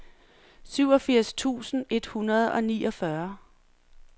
syvogfirs tusind et hundrede og niogfyrre